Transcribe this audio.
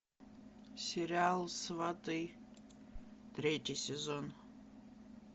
сериал сваты третий сезон